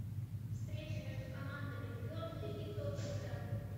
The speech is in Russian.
встреча между командами бернли и тоттенхэм